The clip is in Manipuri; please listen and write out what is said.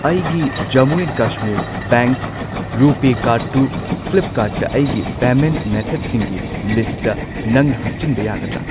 ꯑꯩꯒꯤ ꯖꯝꯃꯨ ꯑꯦꯟ ꯀꯁꯃꯤꯔ ꯕꯦꯡꯛ ꯔꯨꯄꯦ ꯀꯥꯔꯗꯇꯨ ꯐ꯭ꯂꯤꯞꯀꯥꯔꯠꯇ ꯑꯩꯒꯤ ꯄꯦꯃꯦꯟꯠ ꯃꯦꯊꯗꯁꯤꯡꯒꯤ ꯂꯤꯂꯤꯁꯇ ꯁ꯭ꯠꯇ ꯅꯪꯅ ꯍꯥꯞꯆꯤꯟꯕ ꯌꯥꯒꯗ꯭ꯔꯥ?